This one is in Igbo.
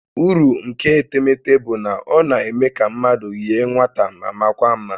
Uru nke etemete bụ na ọ na-eme ka mmadụ yie nwata ma makwaa mma